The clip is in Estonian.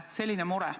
Selline mure.